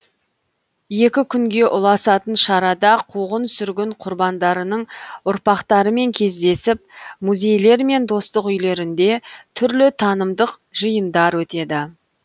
екі күнге ұласатын шарада қуғын сүргін құрбандарының ұрпақтарымен кездесіп музейлер мен достық үйлерінде түрлі танымдық жиындар өтеді